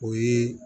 O ye